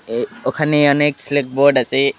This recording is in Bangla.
এই ওখানে অনেক স্লেট বোর্ড আছে।